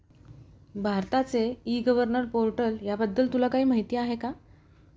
भारताचे e -governor portal या बद्दल तुला काही माहिती आहे का